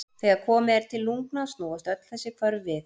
Þegar komið er til lungna snúast öll þessi hvörf við.